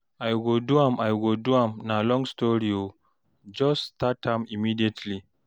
I go do am, I go do am, na long story o jus start am immediately